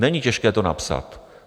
Není těžké to napsat.